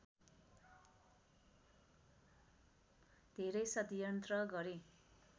धेरै षड्यन्त्र गरे